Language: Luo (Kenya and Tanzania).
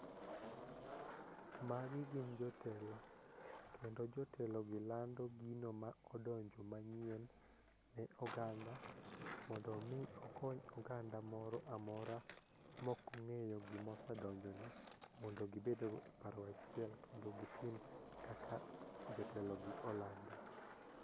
Magi gin jotelo kendo jotelo gi lando gino ma odonjo manyien ne oganda mondo mi okony onganda moro amora mokong'eyo gimo sedonjo ni mondo gibed go e paro achiel kendo gitim kaka jotelo gi olando.